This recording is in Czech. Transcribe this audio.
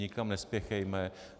Nikam nespěchejme!